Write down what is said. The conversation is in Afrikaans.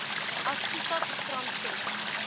asgisa program ses